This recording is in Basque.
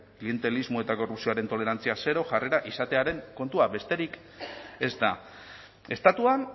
klientelismo eta korrupzioaren tolerantzia zero jarrerak izatearen kontua besterik ez da estatuan